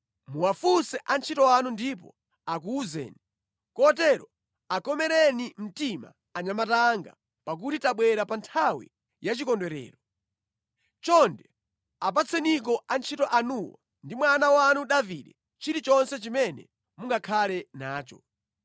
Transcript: Muwafunse antchito anu ndipo akuwuzani. Kotero akomereni mtima anyamata anga, pakuti tabwera pa nthawi yachikondwerero. Chonde apatseniko antchito anuwo ndi mwana wanu Davide chilichonse chimene mungakhale nacho.’ ”